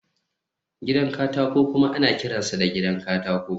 gidan katako kuma ana kiransa gidan katako